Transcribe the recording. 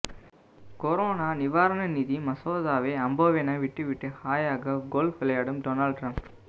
corona நிவாரண நிதி மசோதாவை அம்போவென விட்டுவிட்டு ஹாயாக கோல்ப் விளையாடும் டொனால்ட் டிரம்ப்